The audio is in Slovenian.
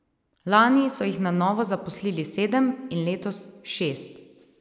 Lani so jih na novo zaposlili sedem in letos šest.